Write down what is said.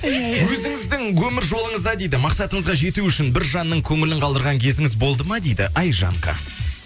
өзіңіздің өмір жолыңызда дейді мақсатыңызға жету үшін бір жанның көңілін қалдырған кезіңіз болды ма дейді айжанка